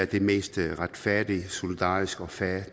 det mest retfærdige solidariske og fair